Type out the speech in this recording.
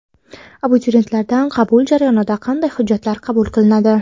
Abituriyentlardan qabul jarayonida qanday hujjatlar qabul qilinadi?